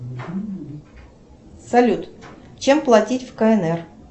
салют чем платить в кнр